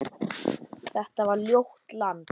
Þetta var ljótt land.